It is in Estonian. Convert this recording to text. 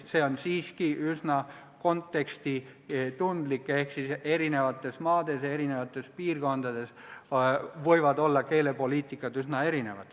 See on siiski üsna kontekstitundlik teema, erinevates maades ja erinevates piirkondades võib keelepoliitika olla üsna erinev.